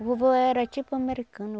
O vovô era tipo americano.